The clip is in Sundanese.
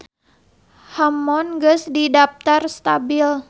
Hammond geus didaptar stabil.